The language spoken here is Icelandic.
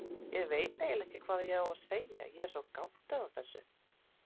Ég veit eiginlega ekki hvað ég á að segja, ég er svo gáttuð á þessu.